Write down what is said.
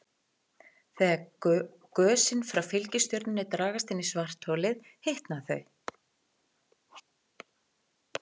Þegar gösin frá fylgistjörnunni dragast inn í svartholið hitna þau.